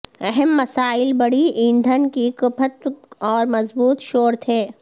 اہم مسائل بڑی ایندھن کی کھپت اور مضبوط شور تھے